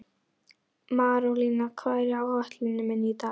Marólína, hvað er á áætluninni minni í dag?